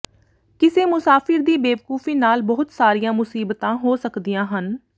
ਕਿਸੇ ਮੁਸਾਫਿਰ ਦੀ ਬੇਵਕੂਫੀ ਨਾਲ ਬਹੁਤ ਸਾਰੀਆਂ ਮੁਸੀਬਤਾਂ ਹੋ ਸਕਦੀਆਂ ਹਨ